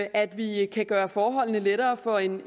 at vi kan gøre forholdene lettere for en